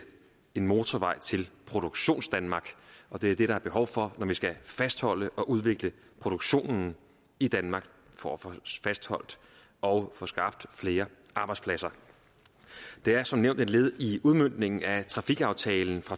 en motorvej til produktionsdanmark og det er det der er behov for når vi skal fastholde og udvikle produktionen i danmark for at få fastholdt og få skabt flere arbejdspladser det er som nævnt et led i udmøntningen af trafikaftale